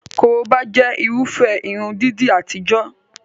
Korobá jẹ́ Irúfẹ́ irun dídì àtijọ́